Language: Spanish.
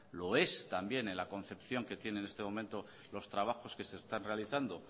lo es también en la concepción que tienen en este momento los trabajos que se están realizando